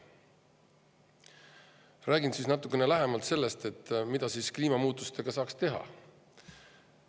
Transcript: Räägin natukene lähemalt sellest, mida kliimamuutustega saaks teha.